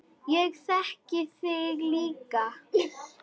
Ég þegi líka.